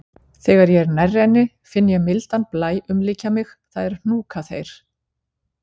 Þegar ég er nærri henni finn ég mildan blæ umlykja mig, það er hnúkaþeyr.